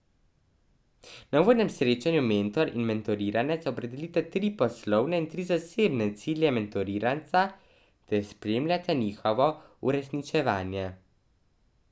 Na uvodnem srečanju mentor in mentoriranec opredelita tri poslovne in tri zasebne cilje mentoriranca ter spremljata njihovo uresničevanje.